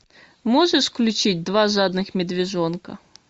можешь включить два жадных медвежонка